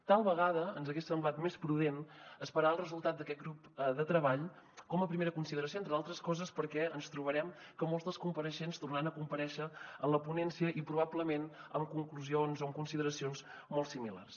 tal vegada ens hagués semblat més prudent esperar el resultat d’aquest grup de treball com a primera consideració entre d’altres coses perquè ens trobarem que molts dels compareixents tornaran a comparèixer en la ponència i probablement amb conclusions o amb consideracions molt similars